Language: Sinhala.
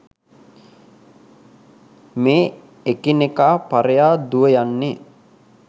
මේ එකිනෙකා පරයා දුව යන්නේ